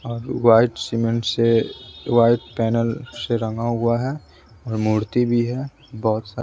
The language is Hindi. और वाइट सीमेंट से वाइट पैनल से रंगा हुआ है और मूर्ति भी है बहुत--